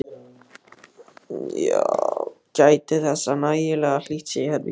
Gætið þess að nægilega hlýtt sé í herberginu.